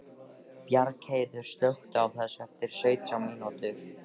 Bjargheiður, slökktu á þessu eftir sautján mínútur.